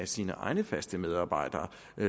sine egne faste medarbejdere